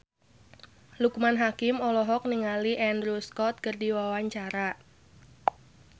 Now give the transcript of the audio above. Loekman Hakim olohok ningali Andrew Scott keur diwawancara